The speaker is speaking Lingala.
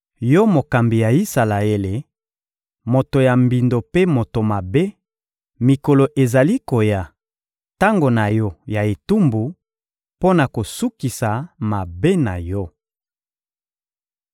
Yo mokambi ya Isalaele, moto ya mbindo mpe moto mabe, mikolo ezali koya, tango na yo ya etumbu, mpo na kosukisa mabe na yo!